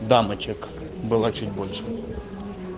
дамочек было чуть больше